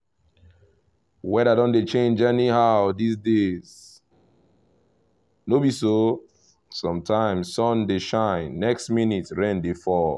weather don dey change anyhow these days no be so? sometimes sun dey shine next minute rain dey fall